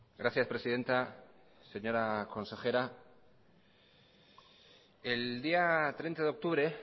gracias presidenta señora consejera el día treinta de octubre